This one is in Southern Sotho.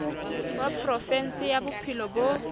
wa provinse ya bophelo bo